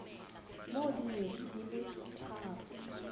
mo dikgweding di le tharo